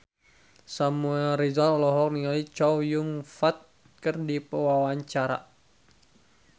Samuel Rizal olohok ningali Chow Yun Fat keur diwawancara